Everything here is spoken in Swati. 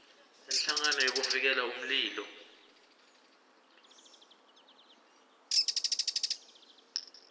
inhlangano yekuvikela umlilo